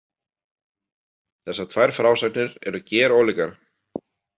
Þessar tvær frásagnir eru gerólíkar.